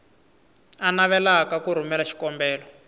a navelaka ku rhumela xikombelo